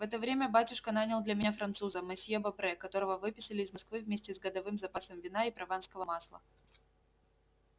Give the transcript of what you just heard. в это время батюшка нанял для меня француза мосье бопре которого выписали из москвы вместе с годовым запасом вина и прованского масла